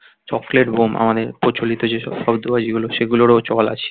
Chocolate bomb মানে প্রচলিত যে সব শব্দ বাজি গুলো সেগুলোরও চল আছে.